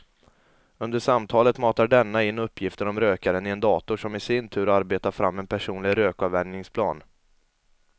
Under samtalet matar denna in uppgifter om rökaren i en dator som i sin tur arbetar fram en personlig rökavvänjningsplan.